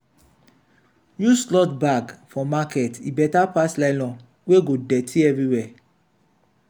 use cloth bag for market e better pass nylon wey go dirty everywhere.